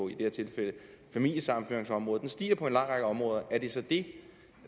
familiesammenføringsområdet den stiger på en lang række områder er det så det